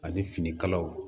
Ani finikalaw